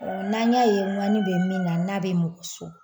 n'a y'a ye ŋani bɛ min na n'a bɛ mɔgɔ sɔgɔ